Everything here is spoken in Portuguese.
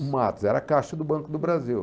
O Matos, era caixa do Banco do Brasil.